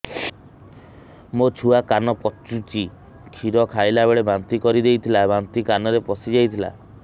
ମୋ ଛୁଆ କାନ ପଚୁଛି କ୍ଷୀର ଖାଇଲାବେଳେ ବାନ୍ତି କରି ଦେଇଥିଲା ବାନ୍ତି କାନରେ ପଶିଯାଇ ଥିଲା